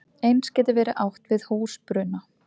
Eins gæti verið átt við húsbruna.